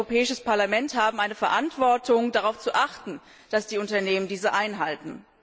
Wir als Europäisches Parlament haben eine Verantwortung, darauf zu achten, dass die Unternehmen diese einhalten.